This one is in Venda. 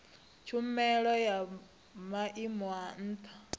tshumelo ya maimo a ntha